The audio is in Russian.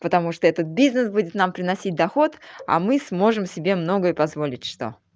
потому что этот бизнес будет нам приносить доход а мы сможем себе многое позволить что